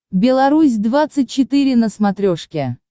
беларусь двадцать четыре на смотрешке